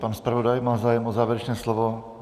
Pan zpravodaj má zájem o závěrečné slovo?